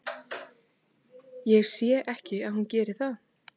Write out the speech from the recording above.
Ég sé ekki að hún geri það.